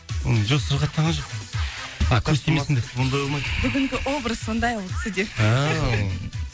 жоқ сырқаттанған жоқпын а көз тимесін деп ондай болмайды бүгінгі образ сондай ол кісіде ыыы